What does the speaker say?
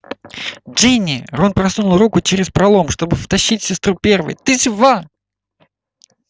джинни рон просунул руку через пролом чтобы втащить сестру первой ты жива